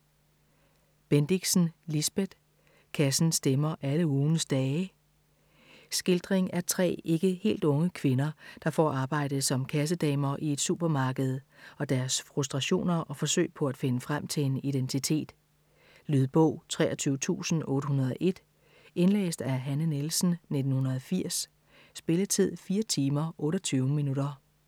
Bendixen, Lisbeth: Kassen stemmer alle ugens dage Skildring af tre, ikke helt unge kvinder, der får arbejde som kassedamer i et supermarked, og deres frustrationer og forsøg på at finde frem til en identitet. Lydbog 23801 Indlæst af Hanne Nielsen, 1980. Spilletid: 4 timer, 28 minutter.